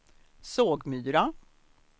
Sågmyra